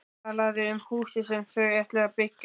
Talaði um húsið sem þau ætluðu að byggja.